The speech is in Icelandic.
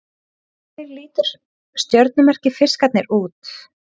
Hvernig lítur stjörnumerkið Fiskarnir út?